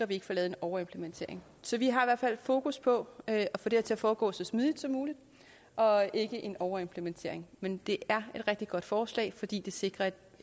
vi ikke får lavet en overimplementering så vi har i hvert fald fokus på at få det her til at foregå så smidigt som muligt og ikke få en overimplementering men det er et rigtig godt forslag fordi det sikrer